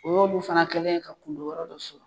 O y'olu fana kɛlen yen ka kun don yɔrɔ dɔ sɔrɔ.